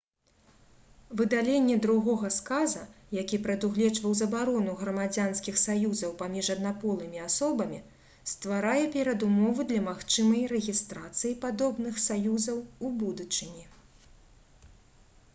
выдаленне другога сказа які прадугледжваў забарону грамадзянскіх саюзаў паміж аднаполымі асобамі стварае перадумовы для магчымай рэгістрацыі падобных саюзаў у будучыні